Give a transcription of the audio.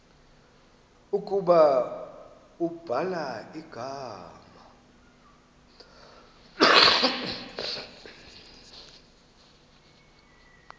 ukuba ubhala igama